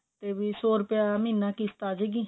ਵੀ ਸੋ ਰੁਪਿਆ ਮਹੀਨਾ ਕਿਸ਼ਤ ਆਜੇਗੀ